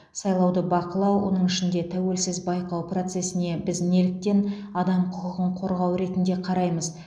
сайлауды бақылау оның ішінде тәуелсіз байқау процесіне біз неліктен адам құқығын қорғау ретінде қараймыз